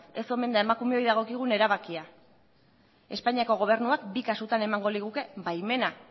ez omen da emakumeoi dagokigun erabakia espainiako gobernuak bi kasutan emango liguke baimena